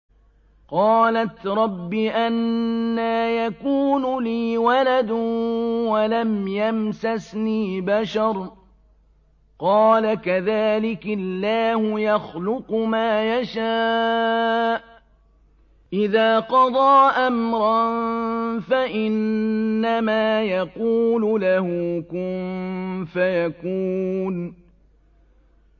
قَالَتْ رَبِّ أَنَّىٰ يَكُونُ لِي وَلَدٌ وَلَمْ يَمْسَسْنِي بَشَرٌ ۖ قَالَ كَذَٰلِكِ اللَّهُ يَخْلُقُ مَا يَشَاءُ ۚ إِذَا قَضَىٰ أَمْرًا فَإِنَّمَا يَقُولُ لَهُ كُن فَيَكُونُ